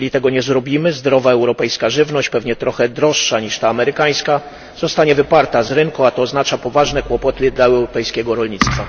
Jeżeli tego nie zrobimy, zdrowa europejska żywność, pewnie trochę droższa niż ta amerykańska, zostanie wyparta z rynku, a to oznacza poważne kłopoty dla europejskiego rolnictwa.